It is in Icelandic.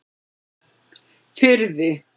Firði